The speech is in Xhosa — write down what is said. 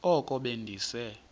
oko be ndise